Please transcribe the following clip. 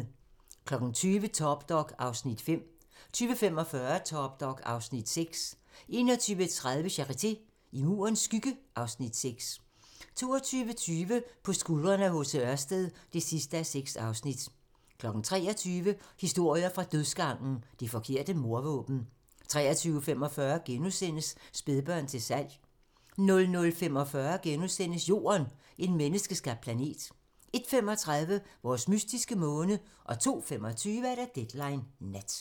20:00: Top Dog (Afs. 5) 20:45: Top dog (Afs. 6) 21:30: Charité - I Murens skygge (Afs. 6) 22:20: På skuldrene af H.C. Ørsted (6:6) 23:00: Historier fra dødsgangen - Det forkerte mordvåben 23:45: Spædbørn til salg * 00:45: Jorden - en menneskeskabt planet * 01:35: Vores mystiske måne 02:25: Deadline Nat